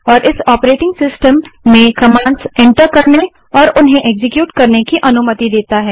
और इस operating system में कमांड्स एंटर करने और उन्हें एक्सक्यूट करने की अनुमति देता है